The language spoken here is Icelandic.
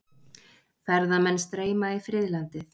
Ferðamenn streyma í friðlandið